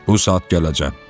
Bu saat gələcəm.